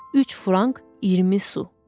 Üç frank, 20 su.